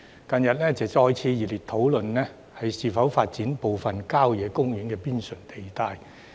近日社會再次熱烈討論應否發展部分郊野公園邊陲用地。